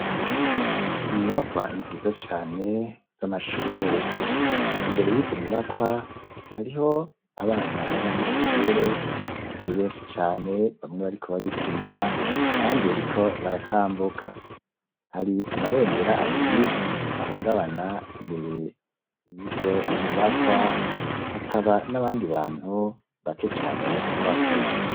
Inyubakwa nziza cane, z'amashure; imbere y'izo nyubakwa, hariho abana b'abanyeshure, atari benshi cane; bamwe, bariko barikinira, abandi, bariko baratambuka; hari amabendera abiri, ahungabana, imbere y'izo nyubakwa; hakaba n'abandi bantu, bake cane, bameze nk'abakuze.